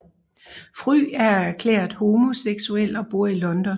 Fry er erklæret homoseksuel og bor i London